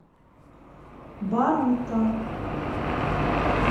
барута